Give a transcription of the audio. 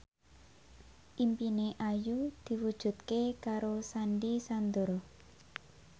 impine Ayu diwujudke karo Sandy Sandoro